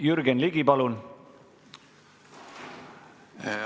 Jürgen Ligi, palun!